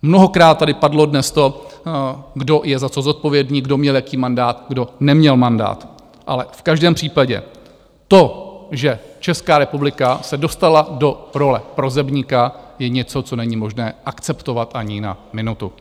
Mnohokrát tady padlo dnes to, kdo je za co zodpovědný, kdo měl jaký mandát, kdo neměl mandát, ale v každém případě to, že Česká republika se dostala do role prosebníka, je něco, co není možné akceptovat ani na minutu!